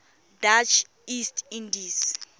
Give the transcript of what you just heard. dutch east indies